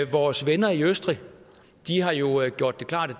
vores venner i østrig har jo gjort det klart at